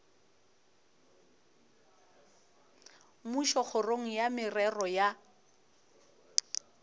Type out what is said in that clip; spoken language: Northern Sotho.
mmušo kgoro ya merero ya